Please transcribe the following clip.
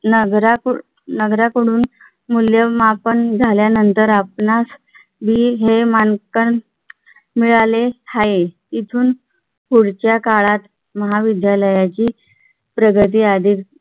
नगर नगरातून मूल्यमापन झाल्यानंतर आपणास मी हे मानपान मिळाले आहे. इथून पुढच्या काळात महाविद्यालयाची प्रगती आधी